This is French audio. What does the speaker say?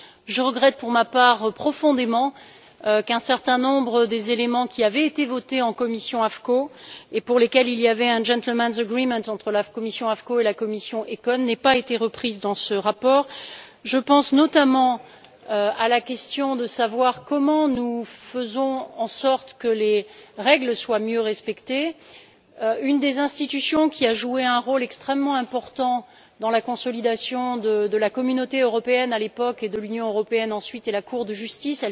Je regrette profondément, pour ma part, qu'un certain nombre des éléments qui avaient été adoptés en commission des affaires constitutionnelles et pour lesquels il y avait eu un gentleman's agreement entre la commission AFCO et la commission ECON n'aient pas été repris dans ce rapport. Je pense notamment à la question de savoir comment nous faisons en sorte que les règles soient mieux respectées. Une des institutions qui a joué un rôle extrêmement important dans la consolidation de la Communauté européenne, à l'époque, et de l'Union européenne, ensuite, est la Cour de justice.